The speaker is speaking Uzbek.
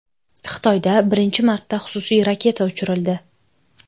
Xitoyda birinchi marta xususiy raketa uchirildi .